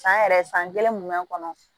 San yɛrɛ san kelen mun mɛ kɔnɔ